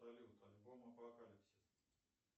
салют альбом апокалипсис